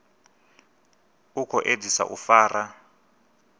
u khou edzisa u fara